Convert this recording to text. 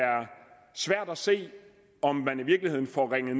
svært at se om man i virkeligheden får ringet